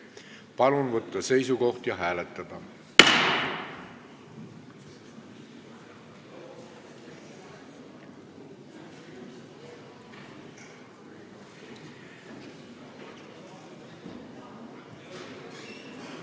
Palun võtta seisukoht ja hääletada!